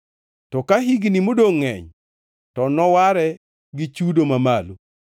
To ka higni modongʼ ngʼeny, to noware gi chudo mamalo.